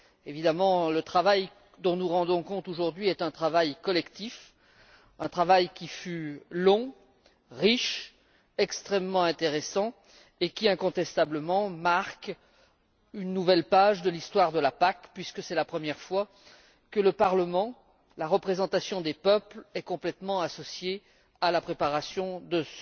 Évidemment le travail dont nous rendons compte aujourd'hui est un travail collectif, un travail qui fut long, riche, extrêmement intéressant et qui, incontestablement, marque une nouvelle page de l'histoire de la PAC, puisque c'est la première fois que le Parlement, la représentation des peuples, est complètement associée à la préparation de